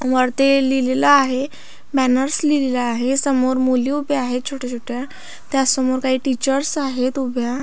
वरती लिहिलेलं आहे बॅनर्स लिहिलेलं आहे समोर मुली उभ्या आहेत छोट्या छोट्या त्यासमोर काही टीचर्स आहेत उभ्या.